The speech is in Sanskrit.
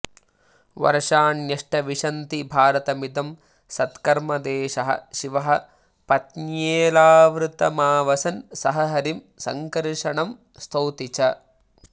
वर्षाण्यष्ट विशन्ति भारतमिदं सत्कर्मदेशः शिवः पत्न्येलावृतमावसन् सह हरिं सङ्कर्षणं स्तौति च